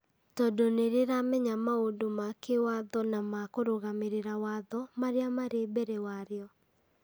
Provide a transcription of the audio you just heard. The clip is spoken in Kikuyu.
tondũ nĩ rĩramenya maũndũ ma kĩwatho na ma kũrũgamĩrĩra watho marĩa marĩ mbere warĩo.